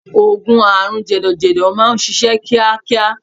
Oògùn àrùn jẹ̀dọ̀jẹ̀dọ̀ máà ń ṣiṣẹ́ kíákíá.